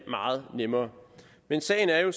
meget nemmere men sagen er jo